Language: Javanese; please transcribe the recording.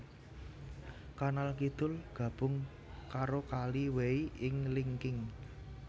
Kanal kidul gabung karo Kali Wei ing Linqing